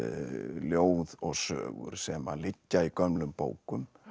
ljóð og sögur sem að liggja í gömlum bókum